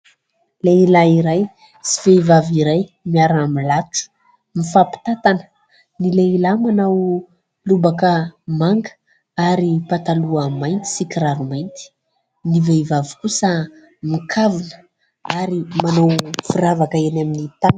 Lehilahy iray sy vehivavy iray miara-milatro mifampitatana. Ny lehilahy manao lobaka manga ary pataloha mainty sy kiraro mainty. Ny vehivavy kosa mikavina ary manao firavaka eny amin'ny tanana